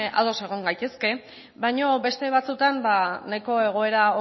ados egon gaitezke baino beste batzuetan nahiko egoera